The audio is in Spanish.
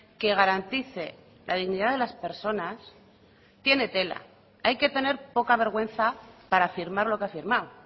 que garantice la dignidad de las personas tiene tela hay que tener poca vergüenza para firmar lo que ha firmado